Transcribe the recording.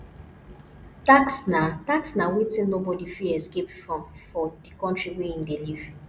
tax na tax na wetin nobody fit escape from for di country wey im dey live